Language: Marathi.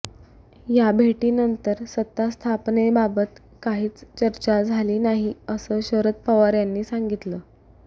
या भेटीनंतर सत्तास्थापनेबाबत काहीच चर्चा झाली नाही असं शरद पवार यांनी सांगतिलं